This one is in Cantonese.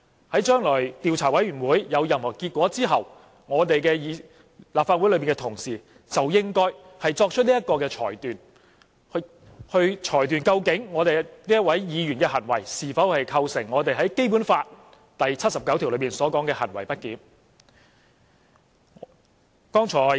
在將來的調查委員會公布調查結果之後，立法會的同事就應該作出裁決，究竟這位議員的行為是否構成《基本法》第七十九條所述的行為不檢。